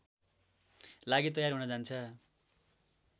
लागि तयार हुन जान्छ